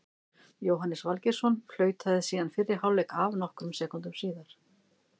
Jóhannes Valgeirsson flautaði síðan fyrri hálfleik af nokkrum sekúndum síðar.